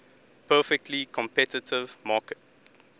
perfectly competitive market